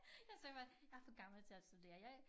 Jeg sagde bare jeg er for gammel til at studere jeg